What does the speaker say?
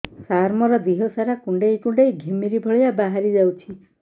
ସାର ମୋର ଦିହ ସାରା କୁଣ୍ଡେଇ କୁଣ୍ଡେଇ ଘିମିରି ଭଳିଆ ବାହାରି ଯାଉଛି